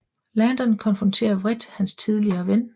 Landon konfronterer vredt hans tidligere ven